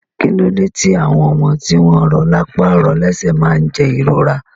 Kílode ti àwọn ọmọ tí wọn rọ lápá rọ lẹsẹ máa ni jẹ ìrora?